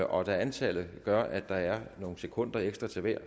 og da antallet gør at der er nogle sekunder ekstra til hver